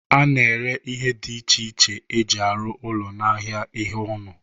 A na-ere ihe dị iche iche e ji arụ ụlọ n'ahịa ihe ụnọ.